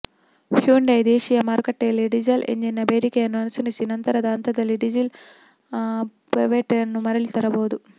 Hyundai ದೇಶಿಯ ಮಾರುಕಟ್ಟೆಯಲ್ಲಿ diesel ಎಂಜಿನ್ನ ಬೇಡಿಕೆಯನ್ನು ಅನುಸರಿಸಿ ನಂತರದ ಹಂತದಲ್ಲಿ ಡೀಸೆಲ್ ಪವರ್ಟ್ರೇನ್ನ್ನು ಮರಳಿ ತರಬಹುದು